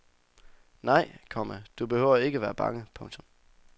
Nej, komma du behøver ikke at være bange. punktum